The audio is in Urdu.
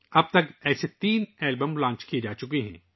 اب تک ایسے تین البم لانچ ہو چکے ہیں